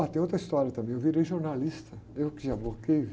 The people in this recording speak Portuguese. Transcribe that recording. Ah, tem outra história também, eu virei jornalista, eu que.